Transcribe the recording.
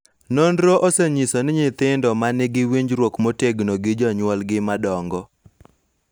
Nonro osenyiso ni nyithindo ma nigi winjruok motegno gi jonyuolgi madongo .